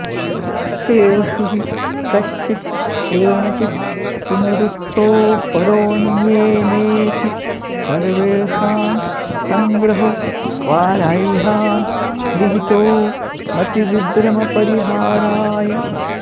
तेषु हि कश्चित् केनचित् पुनरुक्तोऽपरोऽन्येनेति सर्वेषां सङ्ग्रहो वाराह्यां विहितो मतिविभ्रमपरिहाराय